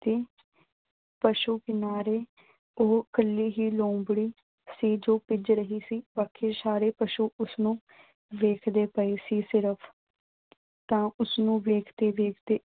ਪਸ਼ੂ ਕਿਨਾਰੇ ਉਹ ਇਕੱਲੀ ਹੀ ਲੂੰਬੜੀ ਸੀ ਜੋ ਪੁੱਜ ਰਹੀ ਸੀ। ਬਾਕੀ ਸਾਰੇ ਪਸ਼ੂ ਉਸਨੂੰ ਦੇਖਦੇ ਪਏ ਸੀ ਸਿਰਫ਼। ਤਾਂ ਉਸਨੂੰ ਦੇਖਦੇ-ਦੇਖਦੇ